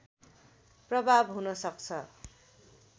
प्रभाव हुन सक्छ